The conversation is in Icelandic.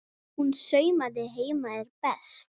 Hún saumaði heima er best.